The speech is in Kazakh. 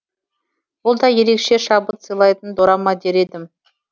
бұл да ерекше шабыт сыйлайтын дорама дер едім